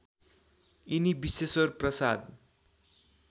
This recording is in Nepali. यिनी विश्वेश्वर प्रसाद